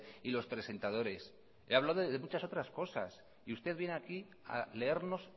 y los presentadores le he hablado de muchas otras cosas y usted viene aquí a leernos